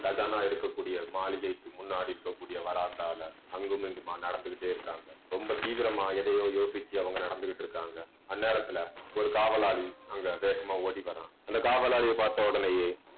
கஜானா இருக்கக்கூடிய மாளிகைக்கு முன்னாடி இருக்கக்கூடிய வராந்தால அங்கும் இங்குமா நடந்துக்கிட்டே இருக்காங்க. ரொம்ப தீவிரமா எதையோ யோசிச்சு அவங்க நடந்துகிட்டு இருக்காங்க. அந்நேரத்துல ஒரு காவலாளி அங்க வேகமா ஓடி வர்றான். அந்த காவலாளியை பார்த்த ஒடனேயே